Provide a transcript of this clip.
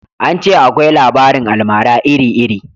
An ce akwai labarin almara iri iri